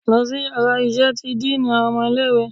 Losí iyàrá iṣẹ tí diiní awọn ọmọ ilẹ̀ ìwé!